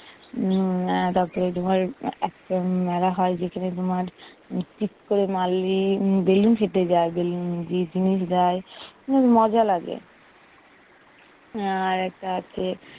উম তোমার এ~একটা মেলা হয় যেখানে তোমার ফিককোমালেরি উম বেলুন ফেটে যায়, বেলুন যে জিনিস দেয় খুব মজা লাগে। আহ আরেকটা আছে